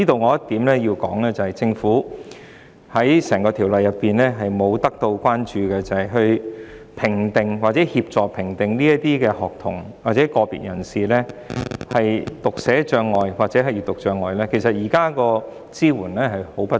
我必須指出一點，政府在整項《條例草案》中忽略一點，就是在評定或協助評定學童或個別人士有否讀寫障礙或閱讀障礙方面，其實支援相當不足。